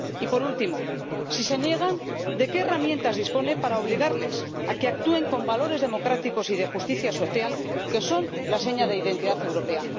Y, por último, si se niegan, ¿de qué herramientas dispone para obligarles a que actúen con valores democráticos y de justicia social, que son la seña de identidad europea?